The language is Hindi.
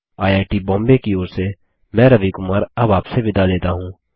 आईआईटी बॉम्बे की ओर से मैं रवि कुमार अब आपसे विदा लेता हूँ